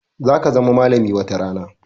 Za ka zama malami watarana